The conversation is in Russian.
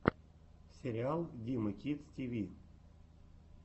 сериал димы кидс ти ви